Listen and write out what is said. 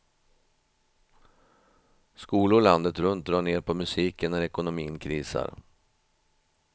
Skolor landet runt drar ned på musiken när ekonomin krisar.